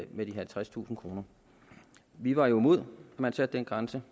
med de halvtredstusind kroner vi var jo imod at man satte den grænse